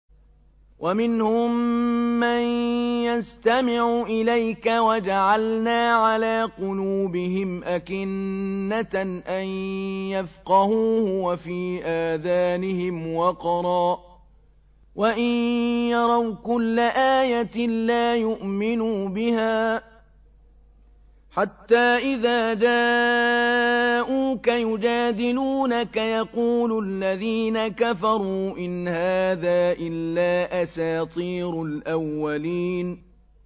وَمِنْهُم مَّن يَسْتَمِعُ إِلَيْكَ ۖ وَجَعَلْنَا عَلَىٰ قُلُوبِهِمْ أَكِنَّةً أَن يَفْقَهُوهُ وَفِي آذَانِهِمْ وَقْرًا ۚ وَإِن يَرَوْا كُلَّ آيَةٍ لَّا يُؤْمِنُوا بِهَا ۚ حَتَّىٰ إِذَا جَاءُوكَ يُجَادِلُونَكَ يَقُولُ الَّذِينَ كَفَرُوا إِنْ هَٰذَا إِلَّا أَسَاطِيرُ الْأَوَّلِينَ